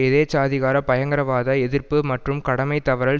எதேச்சாதிகார பயங்கரவாத எதிர்ப்பு மற்றும் கடமைதவறல்